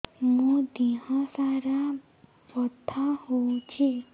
ମୋ ଦିହସାରା ବଥା ହଉଚି